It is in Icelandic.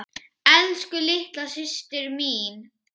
Elsku litla systa mín.